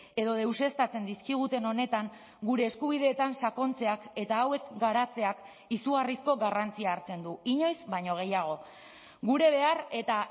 edo deuseztatzen dizkiguten honetan gure eskubideetan sakontzeak eta hauek garatzeak izugarrizko garrantzia hartzen du inoiz baino gehiago gure behar eta